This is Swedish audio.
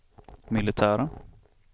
militära